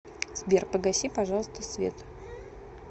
сбер погаси пожалуйста свет